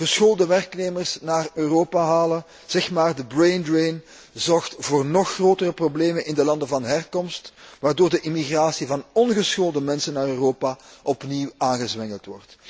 Geschoolde werknemers naar Europa halen, zeg maar de braindrain, zorgt voor nog grotere problemen in de landen van herkomst, waardoor de immigratie van ongeschoolde mensen naar Europa opnieuw wordt aangezwengeld.